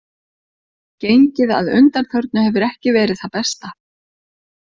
Gengið að undanförnu hefur ekki verið það besta.